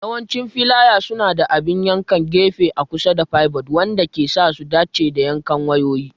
Yawancin filaya suna da abin yankan gefe a kusa da pivot, wanda ke sa su dace da yankan wayoyi.